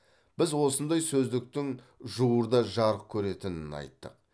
біз осындай сөздіктің жуырда жарық көретінін айттық